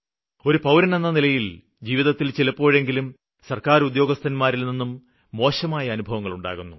ഒരു പൌരനെന്ന നിലയില് ജീവിതത്തില് ചിലപ്പോഴെങ്കിലും സര്ക്കാര് ഉദ്യോഗസ്ഥന്മാരില്നിന്നും മോശമായ അനുഭവങ്ങള് ഉണ്ടാകുന്നു